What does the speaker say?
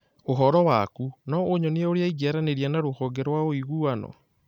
Ũhoro waku, no ũnyonie ũria ingĩaranĩria na rũhonge rwa ũiguano